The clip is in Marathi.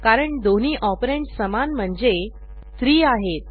कारण दोन्ही ऑपरंड समान म्हणजे 3 आहेत